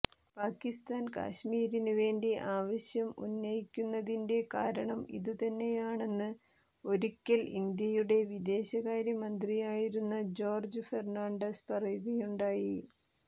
പാകിസ്ഥാൻ കാശ്മീരിന് വേണ്ടി ആവശ്യം ഉന്നയിക്കുന്നതിന്റെ കാരണം ഇതു തന്നെയാണെന്ന് ഒരിക്കൽ ഇന്ത്യയുടെ വിദേശകാര്യ മന്ത്രിയായിരുന്ന ജോർജ്ജ് ഫെർണാണ്ടസ് പറയുകയുണ്ടായി